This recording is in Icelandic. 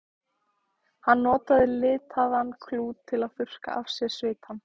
Hann notaði litaðan klút til að þurrka af sér svitann.